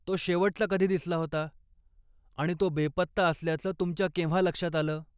तो शेवटचा कधी दिसला होता आणि तो बेपत्ता असल्याचं तुमच्या केव्हा लक्षात आलं?